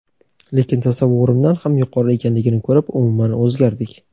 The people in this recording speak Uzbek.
lekin tasavvurimdan ham yuqori ekanligini ko‘rib umuman o‘zgardik.